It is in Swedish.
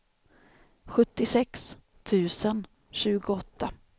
sjuttiosex tusen tjugoåtta